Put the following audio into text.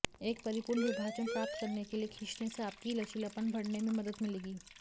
एक परिपूर्ण विभाजन प्राप्त करने के लिए खींचने से आपकी लचीलापन बढ़ने में मदद मिलेगी